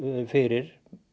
fyrir